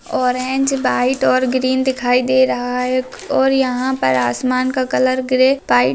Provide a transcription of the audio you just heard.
orange white और green दिखाई दे रहा है और यहां पर आसमान का कलर ग्रे व्हाइट --